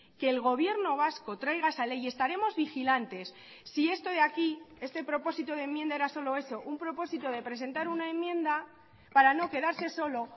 que el gobierno vasco traiga esa ley y estaremos vigilantes si esto de aquí este propósito de enmienda era solo eso un propósito de presentar una enmienda para no quedarse solo